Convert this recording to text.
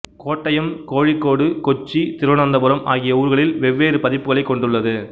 கோட்டயம் கோழிக்கோடு கொச்சி திருவனந்தபுரம் ஆகிய ஊர்களில் வெவ்வேறு பதிப்புகளைக் கொண்டுள்ளது